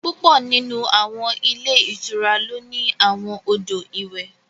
Púpọ̀ nínú àwọn ilé ìtura ló ní àwọn odò ìwẹ̀